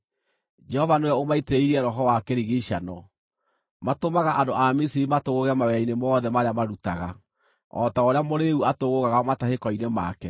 Jehova nĩwe ũmaitĩrĩirie roho wa kĩrigiicano; matũmaga andũ a Misiri matũgũũge mawĩra-inĩ mothe marĩa marutaga, o ta ũrĩa mũrĩĩu atũgũũgaga matahĩko-inĩ make.